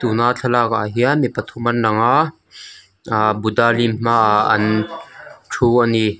tuna thlalakah hian mi pathum an lang a ahh buddha lim hmaah an thu a ni.